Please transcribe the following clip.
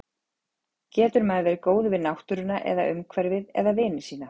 Getur maður verið góður við náttúruna eða umhverfið eða vini sína?